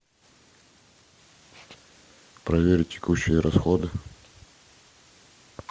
проверить текущие расходы